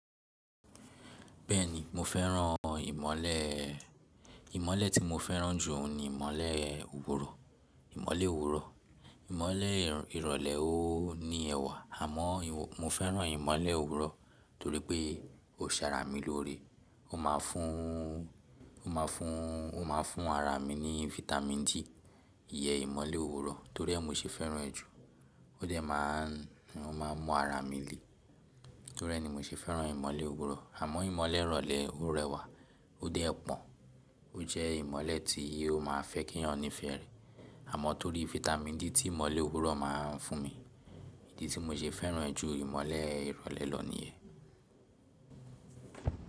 Bẹ́ẹ̀ni mo fẹ́ràn ìmọ̀lẹ̀. Ìmọ̀lẹ̀ tí mo fẹ́ràn jù ni ìmọ̀lẹ̀ òwúrọ̀, ìmọ̀lẹ̀ òwúrọ̀. Ìmọ̀lẹ̀ ìrọ̀lẹ́ ó ní ẹwà àmọ́ mo fẹ́ràn ìmọ̀lẹ̀ òwúrọ̀ torí pé ó ń ṣaara mi lóré. Ó ma fún, ó ma fún, ó ma fún ara mi ní Vitamin D. Iyẹn ìmọ̀lẹ̀ òwúrọ̀ torí ẹ́ mo ṣe fẹ́ràn ẹ́ jù. Ó dẹ̀ máa, ó máa mọ ara mi le torí ẹ́ ni mo ṣe fẹ́ràn ìmọ̀lẹ̀ òwúrọ̀. Àmọ́ ìmọ̀lẹ̀ ìrọ̀lẹ́ ó rẹwà ó dẹ̀ pọ́n. Ó jẹ́ ìmọ̀lẹ̀ tí ó ma fẹ́ kí ọ̀ràn nífẹ̀ẹ́ rẹ̀. Àmọ́ torí Vitamin D tí ìmọ̀lẹ̀ òwúrọ̀ ma ń fún mi, èyí tí mo ṣe fẹ́ràn ẹ́ jù ìmọ̀lẹ̀ ìrọ̀lẹ́ lọ ni ẹ́.